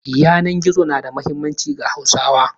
Yanan gizo na da muhimmanci ga Hauswa.